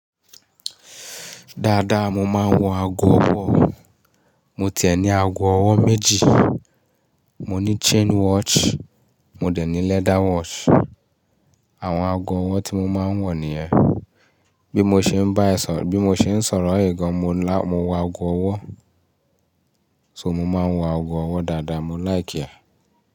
Dáadáa mo máa ń wọ ago ọwọ́. Mo tiẹ̀ ní ago ọwọ́ méjì. Mo ní chain watch, mo dẹ̀ ní leather watch. Àwọn ago ọwọ́ tí mo máa ń wọ̀ nìyẹn. Bí mo ṣe ń bá ẹ sọ̀rọ̀, bí mo ṣe ń sọ̀rọ̀ è gàn mo ń wọ ago ọwọ́. So mo máa ń wọ ago ọwọ́ dáadáa. Mo laiki ẹ.